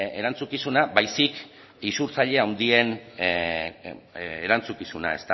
erantzukizuna baizik eta isurtzaile handien erantzukizuna